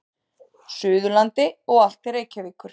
Suðurlandi og allt til Reykjavíkur.